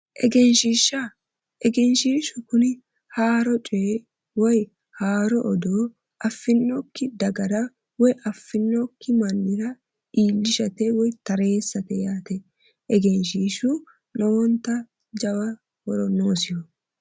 egenshiishsha egenshiishshu kuni haaro coyi woyi haaro odoo affinnokki dagara woyi affinnokki mannira iillishate woyi tareessate yaate egenshiishshu yaa lowonta jawa horo noosiho.